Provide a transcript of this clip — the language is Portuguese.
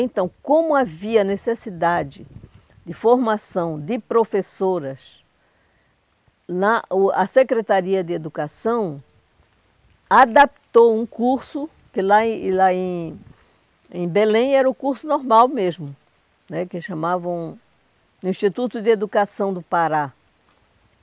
Então, como havia necessidade de formação de professoras, na o a Secretaria de Educação adaptou um curso, que lá em lá em em Belém era o curso normal mesmo né, que chamavam Instituto de Educação do Pará.